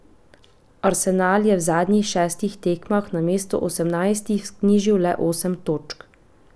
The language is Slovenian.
Arsenal je v zadnjih šestih tekmah namesto osemnajstih vknjižil le osem točk.